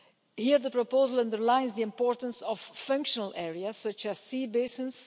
Here the proposal underlines the importance of functional areas such as sea basins.